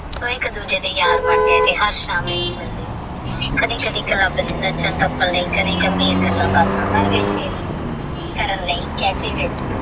ਓਹ ਏਕ ਦੂਜੇ ਦੇ ਯਾਰ ਬਣ ਗਏ ਤੇਹ ਹਰ ਸਹਮੇ ਤੇਹ ਮਿਲਦੇ ਕਦੀ ਕਦੀ ਚੁਬ ਚ ਨਾਚਾਂ ਦਾ ਪਾਲ ਤੇਹ ਕਦੀ ਗੱਲਾਂ ਬਤਾ